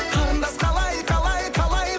қарындас қалай қалай қалай